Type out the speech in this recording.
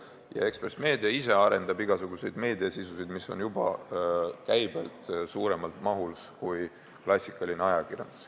Ja ka Ekspress Meedia ise arendab igasugust meediasisu, mis on juba käibelt suuremas mahus kui klassikaline ajakirjandus.